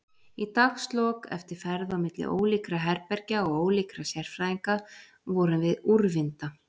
Í dagslok, eftir ferð á milli ólíkra herbergja og ólíkra sérfræðinga, vorum við úrvinda.